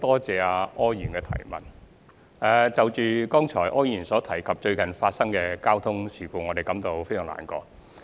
就柯議員剛才所提及於近期發生的交通事故，我們感到十分難過。